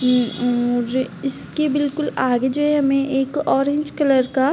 मुझे इसके बिलकुल आगे जो हमे एक ऑरेंज कलर का --